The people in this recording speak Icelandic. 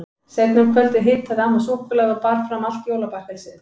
Seinna um kvöldið hitaði amma súkkulaði og bar fram allt jólabakkelsið.